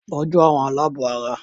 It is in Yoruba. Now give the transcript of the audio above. Tọ́jú àwọn alábọ̀ara!